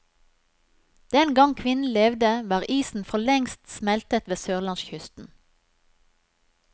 Den gangen kvinnen levde, var isen forlengst smeltet ved sørlandskysten.